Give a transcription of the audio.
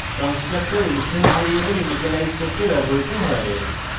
constructor instance variables initialise করতে ব্যবহৃত হয়